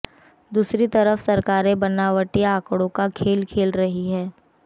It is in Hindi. दूसरी तरफ सरकारें बनावटी आंकड़ों का खेल खेल रही हैं